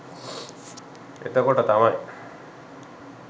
එතකොට තමයි